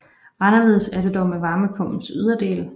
Anderledes er det dog med varmepumpens yderdel